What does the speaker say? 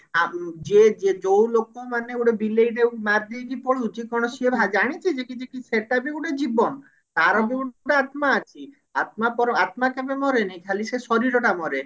ଆ ଯିଏ ଯିଏ ଯଉ ଲୋକମାନେ ଗୋଟେ ବିଲେଇଟେ ମାରିଦେଇକି ପଳଉଛି କଣ ସେ ଜାଣିଛି ଯେ କିଛି ସେଟା ବି ଗୋଟେ ଜୀବନ ତାର ବି ଗୋଟେ ଆତ୍ମା ଅଛି ଆତ୍ମା ପର ଆତ୍ମା କେବେ ମରେନି ଖାଲି ସେ ଶରୀରଟା ମରେ